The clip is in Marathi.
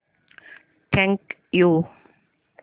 thank you